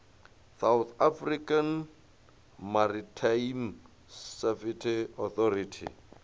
south african maritime safety authority